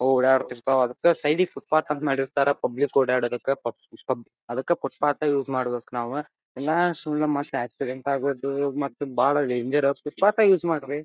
ಓಡಾಡ ಇರ್ತವು ಅದಕ್ಕ ಸೈಡ್ ಗೆ ಫುಟ್ಪಾತ್ ಅಂತ ಮಾಡಿರ್ತರ ಪಬ್ಲಿಕ್ ಓಡಾಡ್ಲಿಕ್ಕ ಅದಕ್ಕೆ ಫುಟ್ಪಾತ್ ಯೂಸ್ ಮಾಡ್ಬೇಕ ನಾವು ಇನ್ನ ಸುಮ್ನೆ ಮತ್ ಆಕ್ಸಿಡೆಂಟ್ ಆಗೋದು ಮತ್ತ್ ಬಹಳ ಡೇಂಜರ್ ಫುಟ್ಪಾತ್ ಎ ಯೂಸ್ ಮಾಡ್ರಿ.